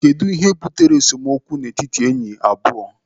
Kedụ ihe butere esemokwu n'etiti ndị enyi abụọ?